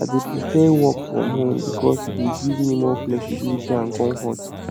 i dey prefer work from home because e dey give me more flexibility and comfort